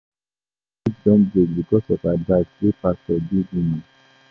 Some marriage don break because of advice wey pastor give woman.